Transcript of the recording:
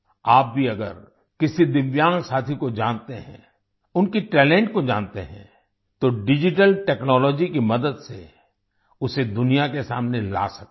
आप भी अगर किसी दिव्यांग साथी को जानते हैं उनके टैलेंट को जानते हैं तो डिजिटल टेक्नोलॉजी की मदद से उसे दुनिया के सामने ला सकते हैं